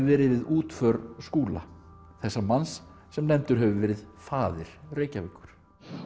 verið við útför Skúla þessa manns sem nefndur hefur verið faðir Reykjavíkur